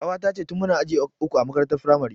Ƙawata ce tin muna aji uku a makarantar firamare